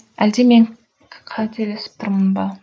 әлде мен қателесіп тұрмын ба